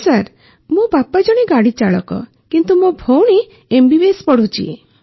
ନା ସାର୍ ମୋ ବାପା ଜଣେ ଗାଡ଼ିଚାଳକ କିନ୍ତୁ ମୋ ଭଉଣୀ ଏମ୍ବିବିଏସ୍ ପଢ଼ୁଛି ସାର୍